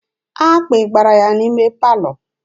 Akpị gbara ya n'ime palọ.